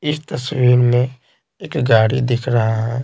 इस तस्वीर में एक गाड़ी दिख रहा है।